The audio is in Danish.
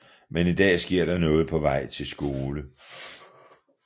Men en dag sker der noget på vej til skole